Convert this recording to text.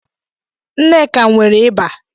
Nneka nwere ịba